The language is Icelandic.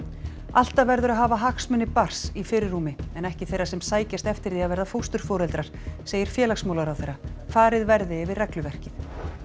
alltaf verður að hafa hagsmuni barns í fyrirrúmi en ekki þeirra sem sækjast eftir því að verða fósturforeldrar segir félagsmálaráðherra farið verði yfir regluverkið